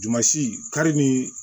Dumasi kari ni